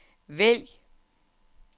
vælg